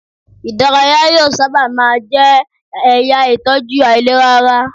Ìdárayá yóò sábà má a jẹ́ ẹ̀yà ìtọ́jú àìlera ara.